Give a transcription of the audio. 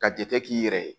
Ka jate k'i yɛrɛ ye